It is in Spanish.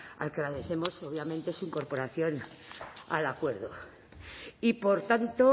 al que agradecemos obviamente su incorporación al acuerdo y por tanto